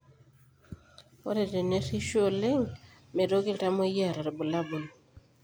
Ore tenerishu oleng meitoki iltamoyia aata irbulabol